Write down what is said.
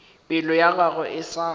pelo ya gagwe e sa